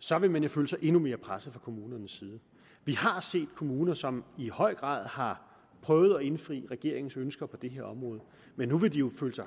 så vil de føle sig endnu mere presset fra kommunernes side vi har set kommuner som i høj grad har prøvet at indfri regeringens ønsker på det her område men nu vil de jo føle sig